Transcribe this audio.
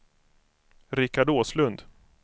Richard Åslund